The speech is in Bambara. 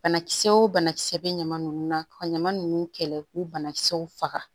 Banakisɛ wo banakisɛ bɛ ɲama ninnu na ka ɲaman nunnu kɛlɛ k'u banakisɛw faga